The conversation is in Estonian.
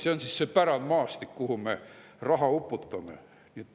See on siis see pärandmaastik, kuhu me raha uputame.